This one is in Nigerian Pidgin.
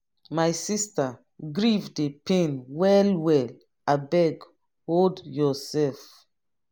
my sister grief dey pain well well abeg hol yoursef.